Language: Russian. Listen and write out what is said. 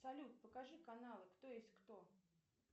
салют покажи каналы кто есть кто